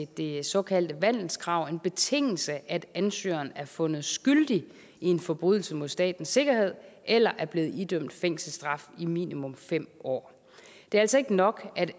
det såkaldte vandelskrav en betingelse at ansøgeren er fundet skyldig i en forbrydelse mod statens sikkerhed eller er blevet idømt fængselsstraf i minimum fem år det er altså ikke nok at